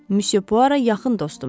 Müsyo Puara yaxın dostumdur.